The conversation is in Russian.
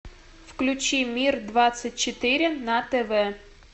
включи мир двадцать четыре на тв